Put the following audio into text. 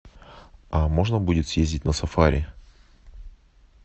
а можно будет съездить на сафари